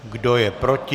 Kdo je proti?